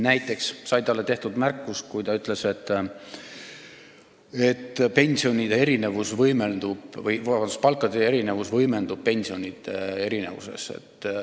Näiteks sai talle tehtud märkus, kui ta ütles, et palkade erinevus võimendub pensionide erinevuses.